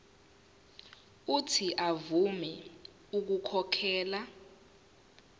uuthi avume ukukhokhela